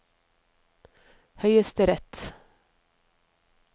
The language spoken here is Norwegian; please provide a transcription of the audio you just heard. høyesterett